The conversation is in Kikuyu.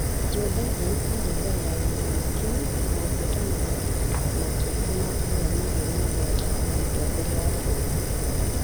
Joe Biden aarĩ mbere ya gĩthurano kĩu na ũhootani makĩria ma kura mirioni mũgwanja harĩ Mũtongoria wa bũrũri.